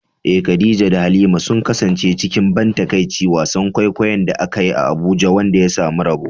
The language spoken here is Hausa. Eh, Khadija da Halima sun kasance cikin ban takaici wasan kwaikwayon da aka yi a Abuja wanda ya samu yabo.